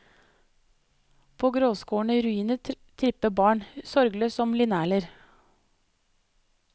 På gråskårne ruiner tripper barn, sorgløst som linerler.